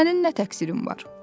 Sənin nə təqsirin var?